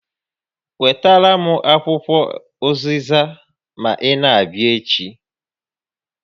Wetara m akwụkwọ ụzịza ma ị na-abịa echi